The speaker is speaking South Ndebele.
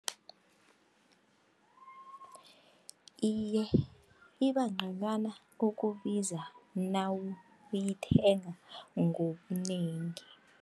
Iye, ibangconywana ukubiza nawuyithenga ngobunengi.